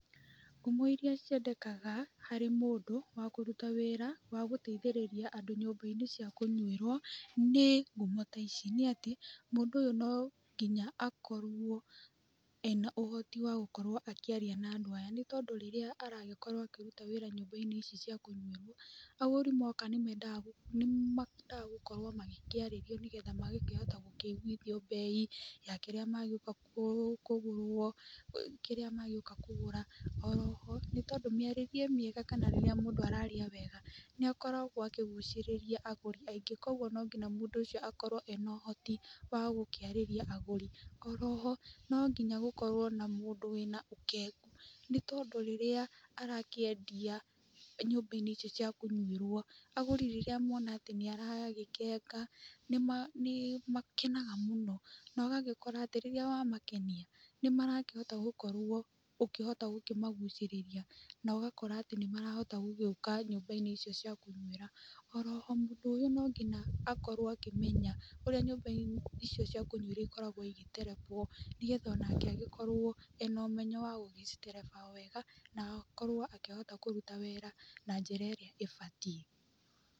Ngumo iria ciendekaga harĩ mũndũ, wa kũruta wĩra, wa gũteithĩrĩria andũ nyũmba-inĩ cia kũnywĩro, nĩ ngumo ta ici; Nĩ ati, mũndũ ũyũ no nginya akorwo ena ũhoti wa gũkorwo akĩaria na andũ aya. Nĩ tondũ rĩrĩa aragĩkorwo akĩruta wĩra nyumba-inĩ ici cia kũnyuĩrwo, agũri moka nĩ mendaga gũkorwo magĩkĩarĩrio nĩgetha magakĩhota gũkĩiguithi bei, ya kĩrĩa magĩoka kũgũrwo, kĩrĩa magĩoka kũgũra. Oroho, nĩ tondũ mĩarĩrie mĩega, kana rĩrĩa mũndũ araria wega, nĩ akoragwo akĩgucĩrĩria agũri aingĩ, kogwo no nginya mũndũ ũcio akorwo ena ũhoti wa gũkĩarĩria agũri. Oroho, no nginya gũkorwo na mũndũ wĩna ũkengu. Nĩ tondũ, rĩrĩa arakĩendia nyumba-inĩ icio cia kũnywĩro, agũri rĩrĩa mona atĩ nĩ aragĩkenga, nĩ makenaga mũno. Na ũgagĩkora atĩ, rĩrĩa wamakenia, nĩ marakĩhota gũkorwo ũkĩhota gũkĩmagucĩrĩria, na ũgakora atĩ nĩ marahota gũgĩũka nyũmba-inĩ icio cia kũnywĩra. Oroho, mũndũ ũyũ no nginya akorwo akĩmenya, ũrĩa nyũmba-inĩ icio cia kũnyuĩra ikoragwo igĩterebwo, nĩgetha o nake agĩkorwo ena ũmenyo wa gũgĩcitereba wega, na akorwo akĩhota kũruta wĩra na njĩra ĩrĩa ĩbatiĩ.